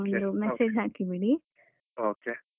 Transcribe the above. Okay.